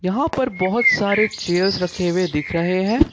यहां पर बहुत सारे चेयर्स रखे हुए दिख रहे हैं।